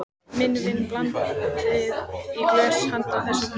Minn vin blandaði í glös handa þessu fólki.